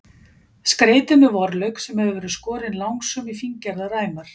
Skreytið með vorlauk sem hefur verið skorinn langsum í fíngerðar ræmur.